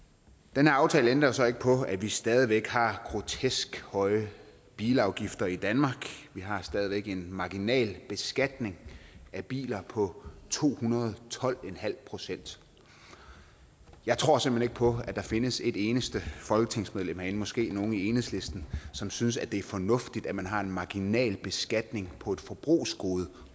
den her aftale ændrer så ikke på at vi stadig væk har grotesk høje bilafgifter i danmark vi har stadig væk en marginalbeskatning af biler på to hundrede og tolv procent jeg tror simpelt hen ikke på at der findes et eneste folketingsmedlem herinde måske nogle i enhedslisten som synes at det er fornuftigt at man har en marginalbeskatning på et forbrugsgode